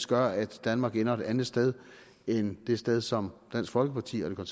gør at danmark ender et andet sted end det sted som dansk folkeparti og